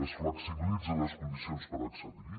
es flexibilitza les condicions per accedir hi